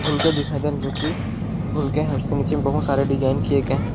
बुलखे दिखाई दे है जो कि बुलखे है उसके नीचे मे बहुत सारे डिज़ाइन किए गये है।